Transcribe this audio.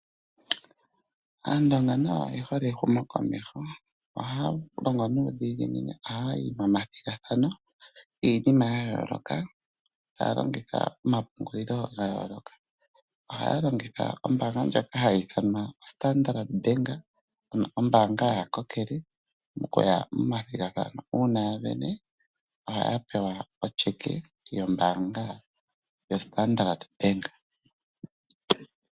Aandonga nayo oye hole ehumokomeho. Ohaya longo nuudhiginini, ohaya yi momathigathano giinima ya yooloka. Ohaya longitha omapungulilo ga yooloka. Ohaya longitha ombaanga ndjoka hayi ithanwa oStandard bank, ano ombaanga yaakokele, mokuya momathigathano. Uuna ya vene, ohaya pewa otyeke yombaanga yoStandard bank.